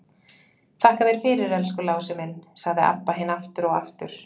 Þakka þér fyrir, elsku Lási minn, sagði Abba hin aftur og aftur.